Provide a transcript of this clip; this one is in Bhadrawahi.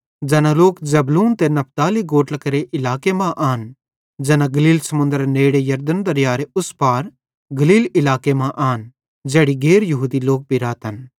ज़ैना लोक जबूलून ते नप्ताली गोत्रां केरे इलाके मां आन ज़ैना गलील समुन्दरेरे नेड़े यरदन दरीयारे उस पार गलील इलाके मां आन ज़ैड़ी गैर यहूदी लोक भी रातन